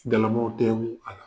Galamaw tɛngu a la.